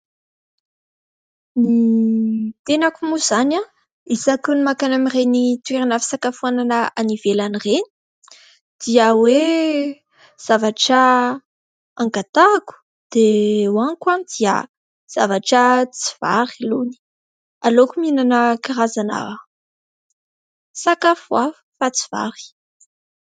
Ny tenako moa izany isaky ny mankany amin'ireny toerana fisakafoanana any ivelany ireny dia hoe zavatra angatahiko dia hoaniko dia zavatra tsy vary lony. Aleoko mihinana karazana sakafo hafa fa tsy vary.